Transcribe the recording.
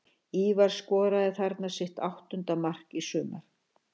Ívar skoraði þarna sitt áttunda mark í sumar.